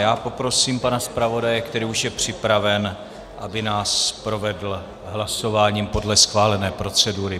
Já poprosím pana zpravodaje, který už je připraven, aby nás provedl hlasováním podle schválené procedury.